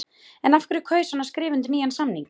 En af hverju kaus hann að skrifa undir nýjan samning?